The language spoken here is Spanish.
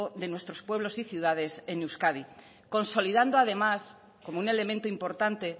de nuestros pueblos y ciudades en euskadi consolidando además como un elemento importante